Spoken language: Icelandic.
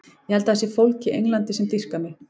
Ég held að það sé fólk í Englandi sem dýrkar mig.